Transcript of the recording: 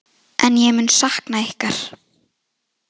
En ég mun sakna ykkar